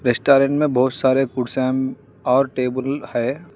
Restaurant में बहुत सारे फूड और टेबल है।